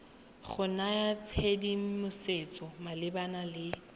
go naya tshedimosetso malebana le